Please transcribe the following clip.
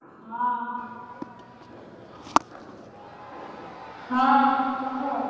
ହଁ ହଁ କହ।